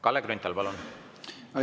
Kalle Grünthal, palun!